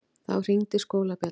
Þá hringdi skólabjallan.